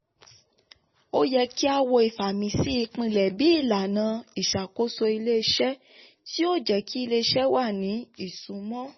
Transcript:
ó yẹ kí a wo ìfàmìsí ipilẹ̀ bí ìlànà ìṣàkóso ilé-iṣẹ́ tí ó jẹ́ kí ilé-iṣẹ́ wà ní ìsúnmọ́.